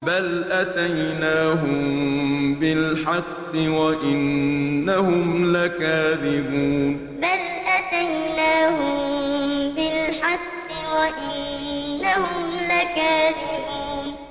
بَلْ أَتَيْنَاهُم بِالْحَقِّ وَإِنَّهُمْ لَكَاذِبُونَ بَلْ أَتَيْنَاهُم بِالْحَقِّ وَإِنَّهُمْ لَكَاذِبُونَ